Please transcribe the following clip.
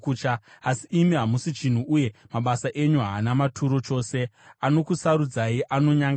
Asi imi hamusi chinhu, uye mabasa enyu haana maturo chose; anokusarudzai anonyangadza.